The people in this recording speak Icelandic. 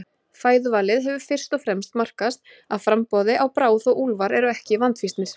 Fæðuvalið hefur fyrst og fremst markast af framboði á bráð og úlfar eru ekki vandfýsnir.